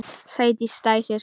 Sædís dæsir.